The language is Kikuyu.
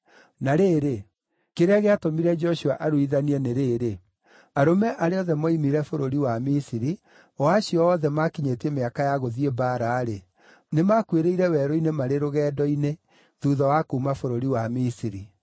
Na rĩrĩ, kĩrĩa gĩatũmire Joshua aruithanie nĩ rĩĩrĩ: arũme arĩa othe mooimire bũrũri wa Misiri, o acio othe maakinyĩtie mĩaka ya gũthiĩ mbaara-rĩ, nĩmakuĩrĩire werũ-inĩ marĩ rũgendo-inĩ thuutha wa kuuma bũrũri wa Misiri.